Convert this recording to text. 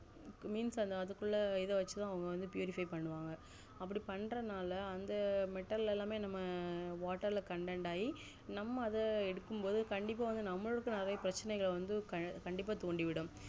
means அதுக்குள்ள இத வச்சிதான் purify பண்ணுவாங்க அப்டி பண்றனால அந்த மெட்டல் எல்லாமே நம்ம water ல content ஆகி நம்ம அத எடுக்கும் போதுகண்டிப்பா நம்மளுக்கும் நெறைய பிரச்சினைகள்வந்து கண்டிப்பா தூண்டிவிடும்